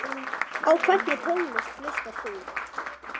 Á hvernig tónlist hlustar þú?